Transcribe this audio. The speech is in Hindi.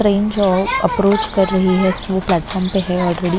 जो अप्रोच कर रही है वो प्लेटफॉर्म पे है और--